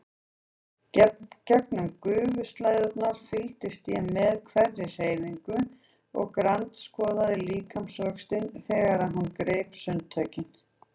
Gegnum gufuslæðurnar fylgdist ég með hverri hreyfingu og grandskoðaði líkamsvöxtinn þegar hún greip sundtökin.